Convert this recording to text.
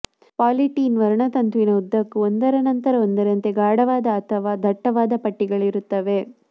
polythene ವರ್ಣತಂತುವಿನ ಉದ್ದಕ್ಕೂ ಒಂದರ ನಂತರ ಒಂದರಂತೆ ಗಾಢವಾದ ಅಥವಾ ದಟ್ಟವಾದ ಪಟ್ಟಿಗಳಿರುತ್ತವೆ